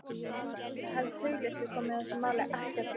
Ég held að hugleysi komi þessu máli ekkert við.